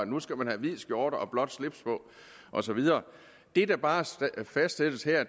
nu skal have hvid skjorte og blåt slips på og så videre det der bare fastsættes her er at